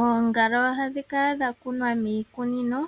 Oongala ohadhi kala dha kunwa miikunino.